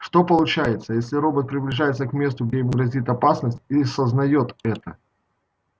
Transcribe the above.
что получается если робот приближается к месту где ему грозит опасность и сознает это